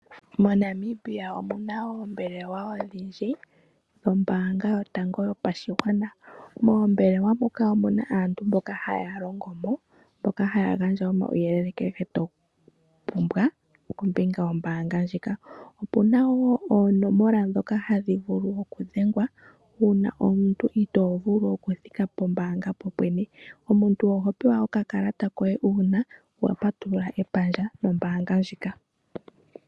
MoNamibia omu na oombelewa odhindji dhombaanga yotango yopashigwana. Moombelewa muka omu na aantu mboka haya longo mo, mboka haya gandja omauyelele kehe to pumbwa kombinga yombaanga ndjika. Opu na wo oonomola ndhoka hadhi vulu okudhengwa uuna omuntu itoo vulu okuthika pombaanga popwene. Omuntu oho pewa okakalata koye uuna wa patulula omayalulo gombaanga nombaanga ndjika.